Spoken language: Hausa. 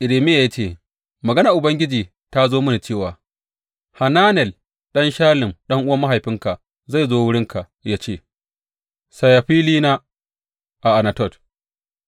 Irmiya ya ce, Maganar Ubangiji ta zo mini cewa, Hananel ɗan Shallum ɗan’uwan mahaifinka zai zo wurinka ya ce, Saya filina a Anatot,